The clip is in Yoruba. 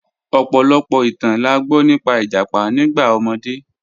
Ọ̀pọ̀lọ̀pọ̀ ìtàn là gbọ nípà ìjápá nígbà omọdé.